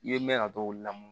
I ye mɛn a t'o la